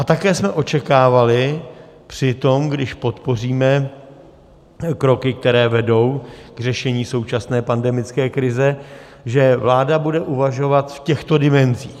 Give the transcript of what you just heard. A také jsme očekávali při tom, když podpoříme kroky, které vedou k řešení současné pandemické krize, že vláda bude uvažovat v těchto dimenzích.